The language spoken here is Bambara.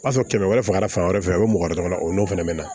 O y'a sɔrɔ kɛmɛ kɛmɛ fagala fan wɛrɛ fɛ a be mɔgɔ wɛrɛ dɔrɔn o n'o fɛnɛ be na